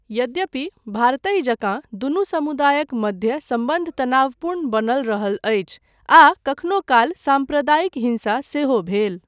यद्यपि भारतहि जकाँ दुनू समुदायक मध्य सम्बन्ध तनावपूर्ण बनल रहल अछि आ कखनो काल साम्प्रदायिक हिंसा सेहो भेल।